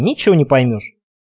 ничего не поймёшь